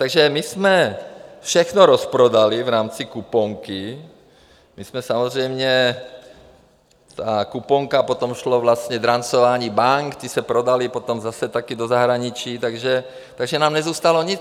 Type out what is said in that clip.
Takže my jsme všechno rozprodali v rámci kuponky, my jsme samozřejmě, ta kuponka, potom šlo vlastně drancování bank, ty se prodaly potom zase taky do zahraničí, takže nám nezůstalo nic.